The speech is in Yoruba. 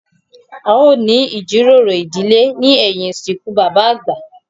A ó ní ìjíròrò ìdílé ní ẹ̀yìn ìsìnkú bàbà àgbà